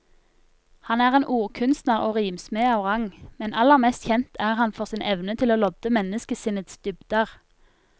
Han er en ordkunstner og rimsmed av rang, men aller mest kjent er han for sin evne til å lodde menneskesinnets dybder.